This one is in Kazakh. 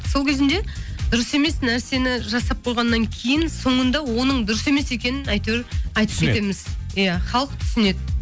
сол кезінде дұрыс емес нәрсені жасап қойғаннан кейін соңында оның дұрыс емес екенін әйтеуір айтып кетеміз иә халық түсінеді